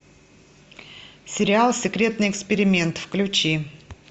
сериал секретный эксперимент включи